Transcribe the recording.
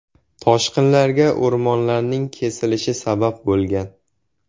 Toshqinlarga o‘rmonlarning kesilishi sabab bo‘lgan.